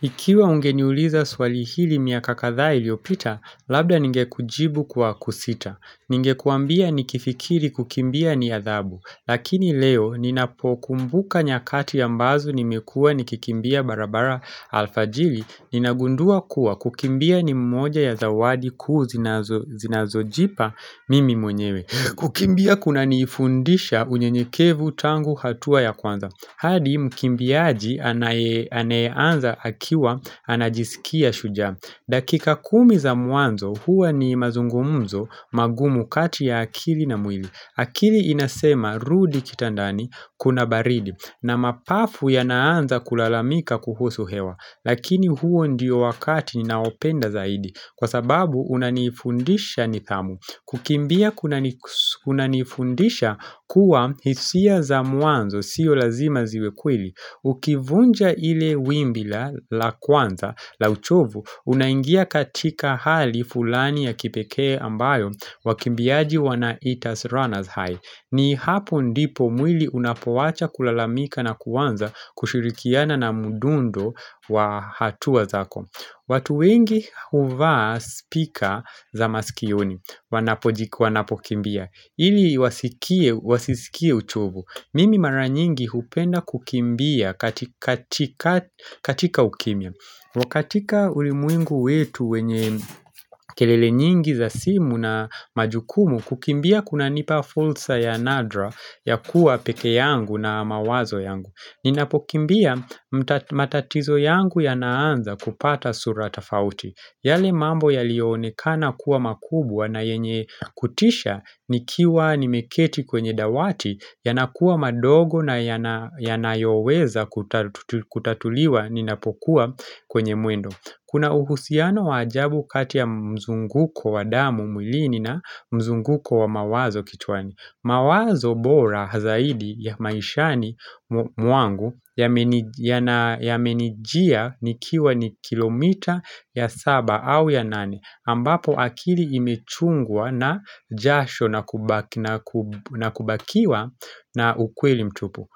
Ikiwa ungeniuliza swali hili miaka kadhaa iliyopita, labda ningekujibu kwa kusita. Ningekuambia nikifikiri kukimbia ni adhabu. Lakini leo, ninapokumbuka nyakati mbazo nimekua nikikimbia barabara alfajiri. Ninagundua kuwa kukimbia ni mmoja ya zawadi kuu ninazojipa mimi mwenyewe. Kukimbia kunanifundisha unyenyekevu tangu hatua ya kwanza. Hadi mkimbiaji aneanza akiwa anajisikia shujaa. Dakika kumi za mwanzo, huwa ni mazungumzo magumu kati ya akili na mwili. Akili inasema rudi kitandani kuna baridi na mapafu yanaanza kulalamika kuhusu hewa. Lakini huo ndiyo wakati ninaopenda zaidi kwa sababu unanifundisha nidhamu. Kukimbia kunanifundisha kuwa hisia za mwanzo siyo lazima ziwe kweli. Ukivunja lile wimbi la kwanza la uchovu unaingia katika hali fulani ya kipekee ambayo wakimbiaji wanaita runners high. Ni hapo ndipo mwili unapowacha kulalamika na kuanza kushirikiana na mdundo wa hatua zako watu wengi huvaa speaker za maskioni wanapokimbia ili wasisikie uchovu. Mimi mara nyingi hupenda kukimbia katika ukimya. Katika ulimwengu wetu wenye kelele nyingi za simu na majukumu, kukimbia kunanipa fursa ya nadra ya kuwa peke yangu na mawazo yangu. Ninapokimbia matatizo yangu yanaanza kupata sura tofauti. Yale mambo yaliyoonekana kuwa makubwa na yenye kutisha nikiwa nimeketi kwenye dawati yanakuwa madogo na yanayoweza kutatuliwa ninapokuwa kwenye mwendo Kuna uhusiano wa ajabu kati ya mzunguko wa damu mwilini na mzunguko wa mawazo kichwani. Mawazo bora zaidi ya maishani mwangu yamenijia nikiwa kilomita ya saba au ya nane ambapo akili imechungwa na jasho na kubakiwa na ukweli mtupu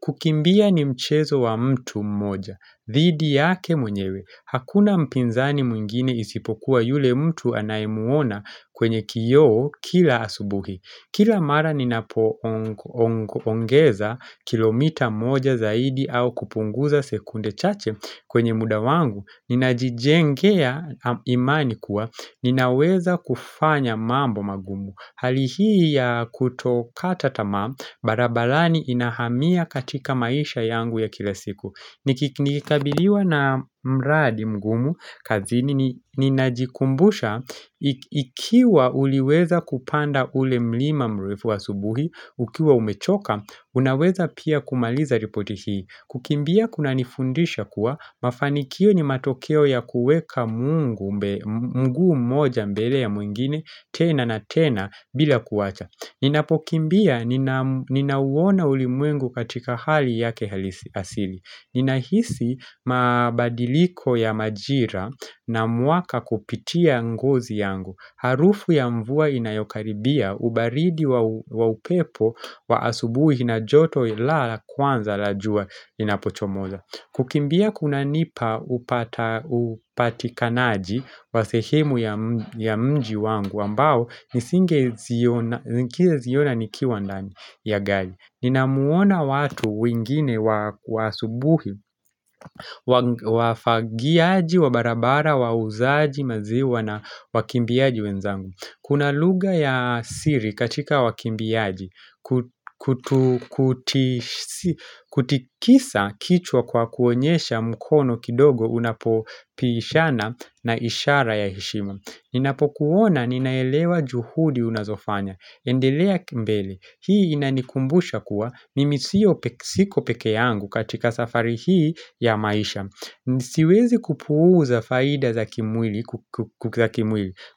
kukimbia ni mchezo wa mtu mmoja dhidi yake mwenyewe Hakuna mpinzani mwingine isipokuwa yule mtu anayemuona kwenye kioo kila asubuhi Kila mara ninapoongeza kilomita moja zaidi au kupunguza sekunde chache kwenye muda wangu ninajijengea imani kuwa, ninaweza kufanya mambo magumu. Hali hii ya kutokata tamaa, barabarani inahamia katika maisha yangu ya kila siku. Nikikabiliwa na mradi mgumu kazini ninajikumbusha ikiwa uliweza kupanda ule mlima mrefu wa asubuhi ukiwa umechoka unaweza pia kumaliza ripoti hii. Kukimbia kunanifundisha kuwa mafanikio ni matokeo ya kuweka mguu mmoja mbele ya mwingine tena na tena bila kuwacha. Ninapokimbia ninauona ulimwengu katika hali yake halisi Nina hisi mabadiliko ya majira na mwaka kupitia ngozi yangu, harufu ya mvua inayokaribia, ubaridi wa upepo wa asubuhi na joto la kwanza la jua linapochomoza. Kukimbia kunanipa upatikanaji wa sehemu ya mji wangu ambao nisinge ziona nikiwa ndani ya gari. Ninawaona watu wengine asubuhi, wafagiaji wa barabara, wauzaji maziwa na wakiambiaji wenzangu Kuna lugha ya siri katika wakimbiaji kutikisa kichwa kwa kuonyesha mkono kidogo unapopishana ni ishara ya heshimu. Ninapokuona ninaelewa juhudi unazofanya. Endelea mbele, hii inanikumbusha kuwa mimi sio siko peke yangu katika safari hii ya maisha. Siwezi kupuuza faida za kimwili.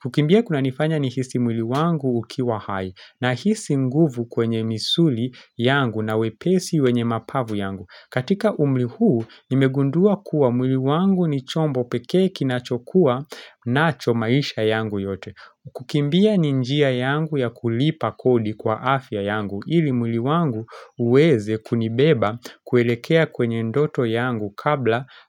Kukimbia kunanifanya nihisi mwili wangu ukiwa hai, nahisi nguvu kwenye misuli yangu na wepesi wenye mapafu yangu. Katika umri huu, nimegundua kuwa mwili wangu ni chombo peke ninachokuwa nacho maisha yangu yote. Kukimbia ni njia yangu ya kulipa kodi kwa afya yangu ili mwli wangu uweze kunibeba kuelekea kwenye ndoto yangu kabla.